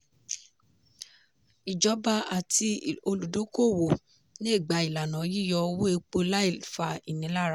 ìjọba àti olùdókòwò le gba ìlànà yíyọ owó epo láì fa ìnilára.